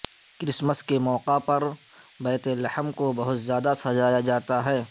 Christmas کے موقع پر بیت لحم کو بہت زیادہ سجایا جاتا ہے